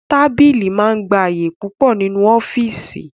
Tábìlì máa ń gba àyè púpọ̀ nínú ọ́fíìsì